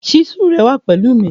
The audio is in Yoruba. Chísù rẹ wà pẹ̀lú mi.